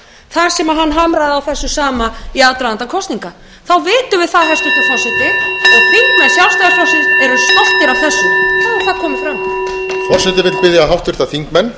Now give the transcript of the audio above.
það opinberist hér að orð formanns þeirra séu algerlega ómarktæk þar sem hann hamraði á þessu sama í aðdraganda kosninga þá vitum við það að þingmenn sjálfstæðisflokksins eru stoltir af þessu þá er það komið fram